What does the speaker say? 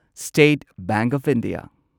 state bank of India